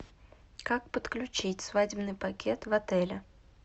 как подключить свадебный пакет в отеле